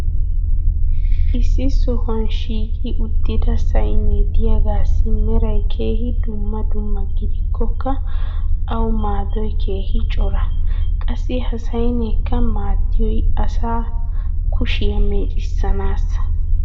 issi sohuwan shiiqi uttida saynnee diyagaassi meray keehi dumma dumma gidikkokka awu maadoy keehi cora. qassi ha saynneekka maadiyoy asaa kushiyaa meeccissanaassa.